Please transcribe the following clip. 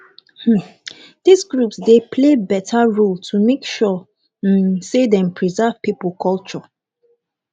um these groups dey play better role to make sure um sey dem preserve pipo culture